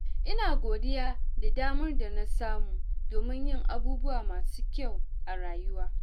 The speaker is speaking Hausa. Ina godiya da damar da na samu domin yin abubuwa masu kyau a rayuwa.